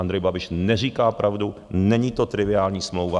Andrej Babiš neříká pravdu, není to triviální smlouva.